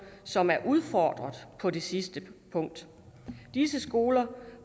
som er udfordret på det sidste punkt disse skoler